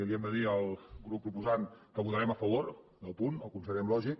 li hem de dir al grup proposant que votarem a favor del punt el considerem lògic